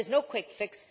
There is no quick fix.